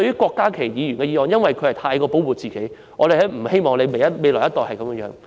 郭家麒議員的修正案過分保護下一代，我們不希望下一代受到過分保護。